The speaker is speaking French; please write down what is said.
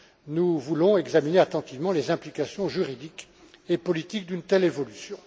Nous voulons examiner attentivement les implications juridiques et politiques d'une telle évolution.